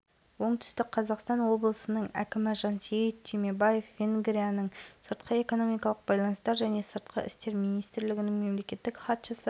қатысатын мемлекеттер жоғарғы оқуы орындары және қатысушылар саны жағынан алматыда өткелі отырған универсиада рекорд орнатып отыр деді президенті олег матыцин